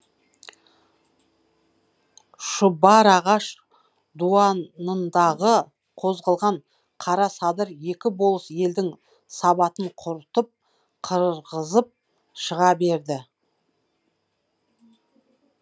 шұбарағаш дуанындағы қозғалған қара садыр екі болыс елдің сабатын құртып қырғызып шыға берді